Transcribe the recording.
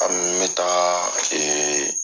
An n bɛ taa